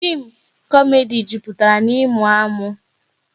Fim komedi jupụtara na ịmụ amụ